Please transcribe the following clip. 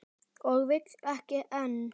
Og vill ekki enn.